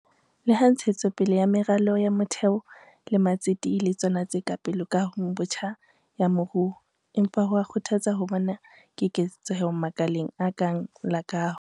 Leha ntshetso pele ya meralo ya motheo le matsete e le tsona tse pele kahong botjha ya moruo, empa ho a kgothatsa ho bona keketseho makaleng a kang la kaho.